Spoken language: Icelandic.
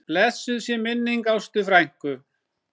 Blessuð sé minning Ástu frænku.